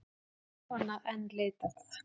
Þjófanna enn leitað